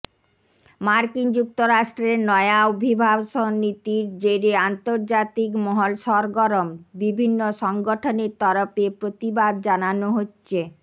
মার্কিন যুক্তরাষ্ট্রের নয়া অভিবাসন নীতির জেরে আন্তর্জাতিক মহল সরগরম বিভিন্ন সংগঠনের তরফে প্রতিবাদ জানানো হচ্ছে